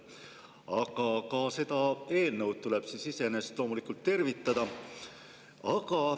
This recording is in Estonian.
Aga ka seda eelnõu tuleb iseenesest loomulikult tervitada.